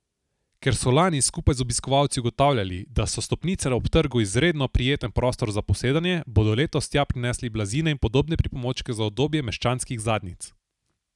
Ker so lani skupaj z obiskovalci ugotavljali, da so stopnice ob trgu izredno prijeten prostor za posedanje, bodo letos tja prinesli blazine in podobne pripomočke za udobje meščanskih zadnjic.